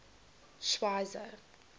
schweizer